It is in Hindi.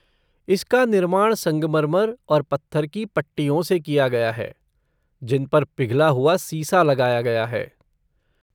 इसका निर्माण संगमरमर और पत्थर की पट्टियों से किया गया है, जिन पर पिघला हुआ सीसा लगाया गया है।